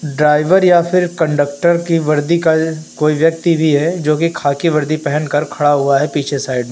Driver या फिर conductor की वर्दी का कोई व्यक्ति भी है जो की खाकी वर्दी पहन कर खड़ा हुआ है पीछे साइड में।